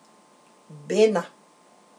Bena.